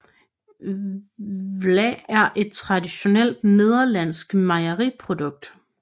Vla er et traditionelt nederlandsk mejeriprodukt